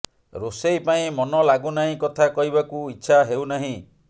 ରୋଷେଇ ପାଇଁ ମନ ଲାଗୁନାହିଁ କଥା କହିବାକୁ ଇଚ୍ଛା ହେଉନାହିଁ